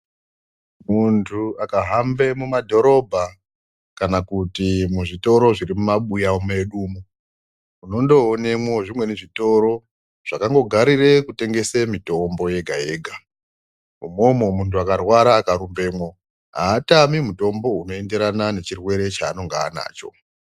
Mundu akahambe mumadhorobha kana kuti muzvitoro zviri muma buys mwedu umwu ondoonemwo zvimweni zvitoro zvakangogarire kutengese mitombo yega yega imwomwo mundu wakarwara akarupemo haatami mutombo unoenderana nechirwere chaanenge anacho.